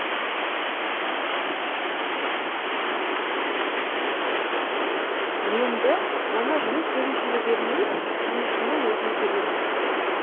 енді оны жұмыс берушіге бермей жұмысшының өзіне төлейміз